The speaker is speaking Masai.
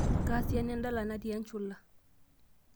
kaa siana endala natii enchula